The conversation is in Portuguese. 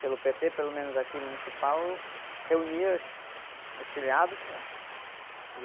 pelo pê-tê, pelo menos aqui, municipal, reunia as, os filiados, né?